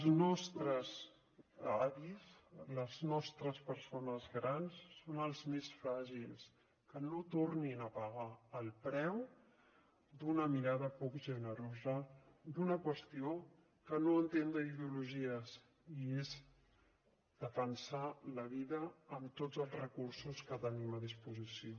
els nostres avis les nostres persones grans són els més fràgils que no tornin a pagar el preu d’una mirada poc generosa d’una qüestió que no entén d’ideologies i és defensar la vida amb tots els recursos que tenim a disposició